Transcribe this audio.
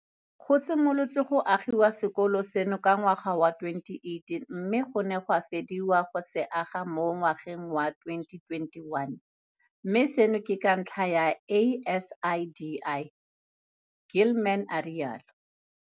Go simolotswe go agiwa sekolo seno ka ngwaga wa 2018 mme go ne ga fediwa go se aga mo ngwageng wa 2021, mme seno ke ka ntlha ya ASIDI, Gilman a rialo.